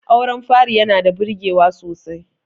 auren fari yana da birgewa sosai